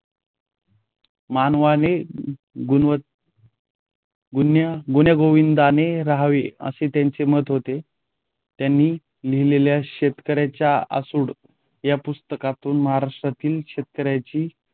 मानवाने गुणवत गुण्यागोविंदाने रहावे असे त्यांचे मत होते. त्यांनी लिहिलेल्या शेतकऱ्याचा आसूड या पुस्तकातून महाराष्ट्रातील शेतकऱ्यांची